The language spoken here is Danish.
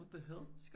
What the hell